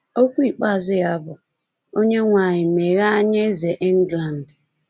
Okwu ikpeazụ ya bụ: “Onyenwe anyị, meghee anya Eze England!”